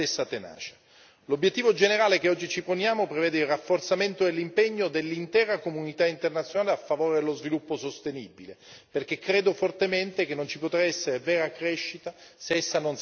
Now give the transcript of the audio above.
L'obiettivo generale che oggi ci poniamo prevede il rafforzamento e l'impegno dell'intera comunità internazionale a favore dello sviluppo sostenibile, perché credo fortemente che non ci potrà essere vera crescita se essa non sarà sostenibile.